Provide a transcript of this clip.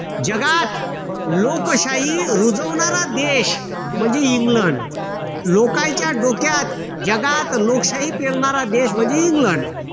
जगात लोकशाही रुजवणारा देश म्हणजे इंग्लंड. लोकांच्या डोक्यात जगात लोकशाही पेरणारा देश म्हणजे इंग्लंड.